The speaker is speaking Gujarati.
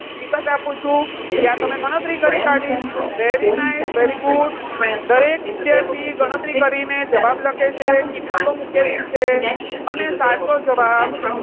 વિગત આપું છું જ્યાં તમે ગણતરી કરી કાઢી. very nice very good દરેક વિદ્યાર્થી ગણતરી કરીને જવાબ લખે છે, કિંમતો મૂકેલી છે અને સાચો જવાબ,